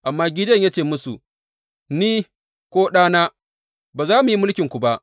Amma Gideyon ya ce musu, Ni, ko ɗana, ba za mu yi mulkinku ba.